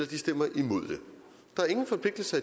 de stemmer imod det der er ingen forpligtelser